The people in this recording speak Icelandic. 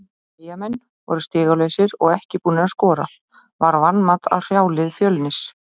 Eyjamenn voru stigalausir og ekki búnir að skora, var vanmat að hrjá lið Fjölnis?